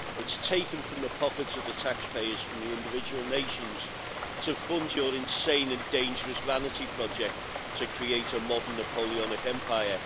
It's taken from the pockets of the taxpayers from the individual nations to fund your insane and dangerous vanity project to create a modern Napoleonic empire.